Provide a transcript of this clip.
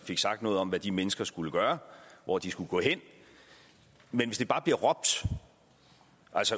fik sagt noget om hvad de mennesker skulle gøre hvor de skulle gå hen men hvis det bare bliver råbt